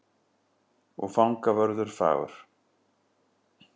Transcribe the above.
Og fangavörður fagur.